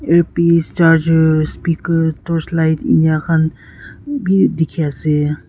earpiece charger speaker torch light enika khan bi dikhiase.